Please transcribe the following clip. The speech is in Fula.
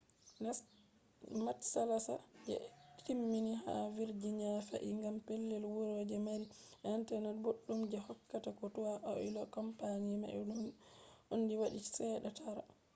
matsala je ɓe timmini ha virginia fe’i gam pellel wuro je mari internet boɗɗum je hokkata ko toi aol company mai on waɗi chede tara